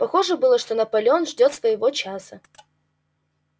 похоже было что наполеон ждёт своего часа